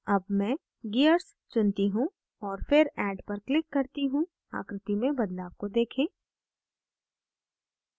add मैं gears चुनती हूँ और फिर add पर click करती हूँ आकृति में बदलाव को देखें